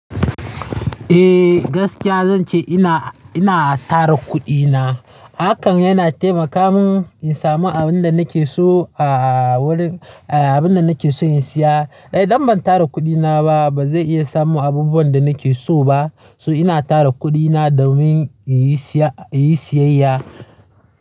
Eh gaskiya zan ce ina, ina tara kuɗina. Hakan yana taimaka mun in samu abin da nake so a wurin, abin da nake so in siya. Idan ban tara kuɗina ba, ba zai iya samo abubuwan da nake so ba. To ina tara kuɗina domin in yi siya, in yi siyayya.